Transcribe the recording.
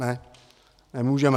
Ne, nemůžeme.